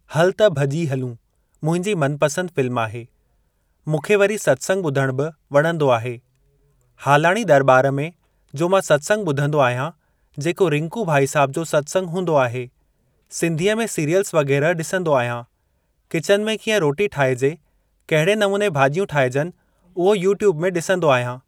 हल त भॼी हलूं मुंहिंजी मनपसंद फ़िल्म आहे। मूंखे वरी सत्संग ॿुधणु बि वणंदो आहे। हालाणी दरॿार में जो मां सत्संग ॿुधंदो आहियां जेको रिंकू भाईसाहब जो सत्संग हूंदो आहे। सिंधीअ में सिरीयलस वग़ैरह ॾिसंदो आहियां। किचन में कीअं रोटी ठाहिजे कहिड़े नमूने भाॼियूं ठाहिजनि उहो यूट्यूब में ॾिसंदो आहियां।